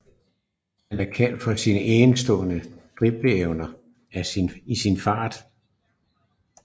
Han er kendt for sin enestående dribleevner og sin fart